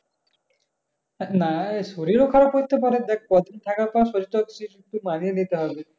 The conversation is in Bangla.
না এ শরীরও খারাপ করতে পারে